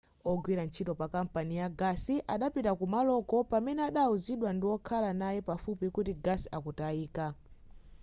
wogwira ntchito pakampani ya gasi adapitaa kumaloko pamene adawuzidwa ndiwokhala naye pafupi kuti gasi akutayika